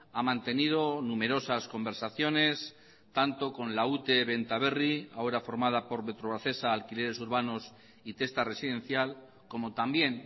ha mantenido numerosas conversaciones tanto con la ute benta berri ahora formada por metrovacesa alquileres urbanos y testa residencial como también